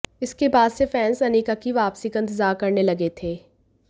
इसके बाद से फैंस अनिका की वापसी का इंतजार करने लगे थे